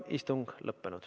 Istung on lõppenud.